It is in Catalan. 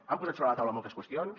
han posat sobre la taula moltes qüestions